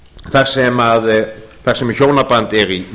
þar sem hjónaband er í